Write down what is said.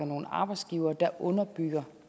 nogle arbejdsgivere der underbygger